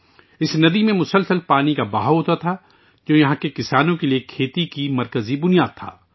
اس ندی میں پانی کا مسلسل بہاؤ ہوتا تھا، جو یہاں کے کسانوں کے لیے کھیتی کی بنیادی بنیاد تھی